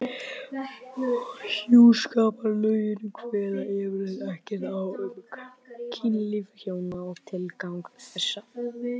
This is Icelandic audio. Hjúskaparlögin kveða yfirleitt ekkert á um kynlíf hjóna og tilgang þess.